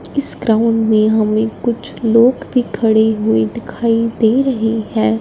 इस ग्राउंड में हमें कुछ लोग भी खड़े हुए दिखाई दे रहे हैं।